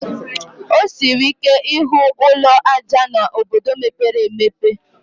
O siri ike ịhụ ụlọ ájá n'obodo mepere emepe